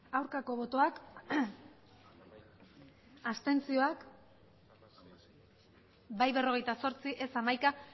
aurkako botoak abstentzioak bai berrogeita zortzi ez hamaika